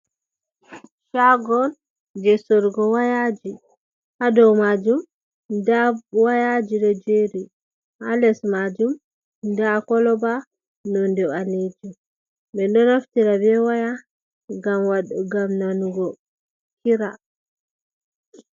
Shago je sorrugo wayaji, ha dou majum nda wayaji ɗo jeeri, ha les majum nda koloba nonde ɓaleejum, men ɗo naftira be waya ngam nanugo kira.